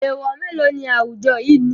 Èèwọ̀ mélòó ni awujọ yìí ní?